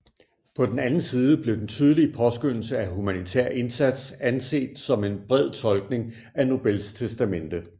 På den anden side blev den tydelige påskønnelse af humanitær indsats anset som en bred tolkning af Nobels testamente